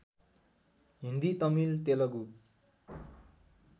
Hindi Tamil Telugu